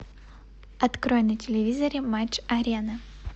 открой на телевизоре матч арена